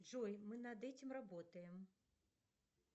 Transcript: джой мы над этим работаем